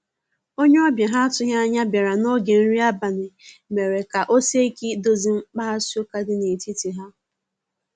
onye obia ha atughi anya biara na oge nri abali mere ka osie ike idozi mkpaghasi uka di na etiti ha.